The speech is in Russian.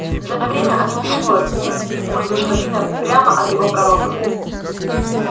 за это время они усвоят мм культ господина прямо от его пророка